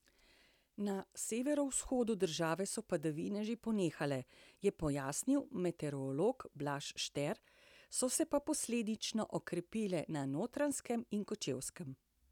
Na severovzhodu države so padavine že ponehale, je pojasnil meteorolog Blaž Šter, so se pa posledično okrepile na Notranjskem in Kočevskem.